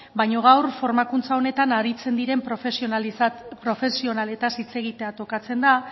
baino gaur formakuntza honetan aritzen diren profesionaletaz hitz egitea tokatzen da